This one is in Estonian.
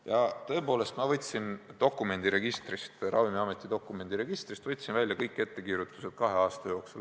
Ja tõepoolest, ma võtsin Ravimiameti dokumendiregistrist välja kõik ettekirjutused kahe aasta jooksul.